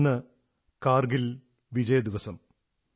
ഇന്ന് കാർഗിൽ വിജയ ദിവസം ആണ്